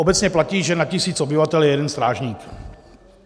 Obecně platí, že na tisíc obyvatel je jeden strážník.